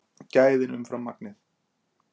Gæðin umfram magnið